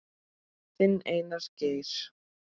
Þinn, Einar Geir.